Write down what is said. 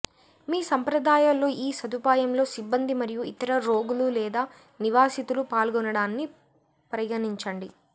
మీ సంప్రదాయాల్లో ఈ సదుపాయంలో సిబ్బంది మరియు ఇతర రోగులు లేదా నివాసితులు పాల్గొనడాన్ని పరిగణించండి